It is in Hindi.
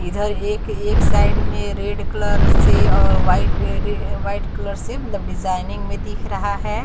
इधर एक एक साइड में रेड कलर से और वाइट कलर से मतलब डिजाइनिंग में दिख रहा है।